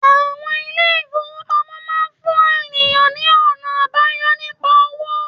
Àwon ilé ìfowópamọ́ máa fún ènìyàn ní ònà àbáyọ nípa owó